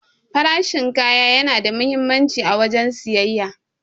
Farashin kaya yana da muhimmanci a wajen siyayya.